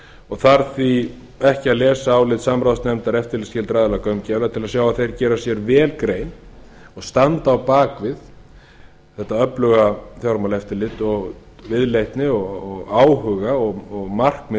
og þarf því ekki að lesa álit samráðsnefndar eftirlitsskyldra aðila gaumgæfilega til að sjá að þeir gera sér vel grein standa á bak við þetta öfluga fjármálaeftirlit og viðleitni áhuga og markmið